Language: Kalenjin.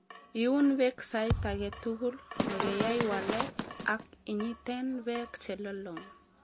Iun beek sait agetugul nekeyai waalet, ak inyiten beek che lolong.